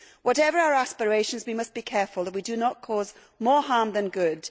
Whatever our aspirations, we must be careful that we do not cause more harm than good.